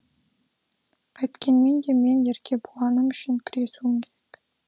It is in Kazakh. қайткенмен де мен еркебұланым үшін күресуім керек